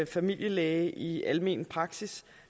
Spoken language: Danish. familielæge i almen praksis